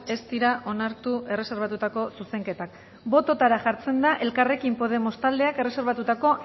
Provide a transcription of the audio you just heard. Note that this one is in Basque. ez dira onartu erreserbatutako zuzenketak botoetara jartzen da elkarrekin podemos taldeak erreserbatutako